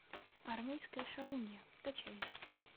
армейская шалунья скачай